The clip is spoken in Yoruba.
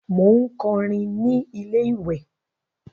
Mò ń kọrin ní ilé-ìwè